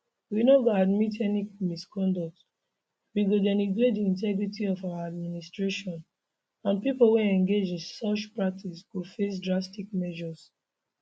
we no go admit any misconduct wey go denigrates di integrity of our administration and pipo wey engage in such practices go face drastic measures